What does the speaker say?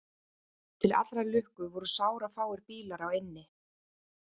Til allrar lukku voru sárafáir bílar á eynni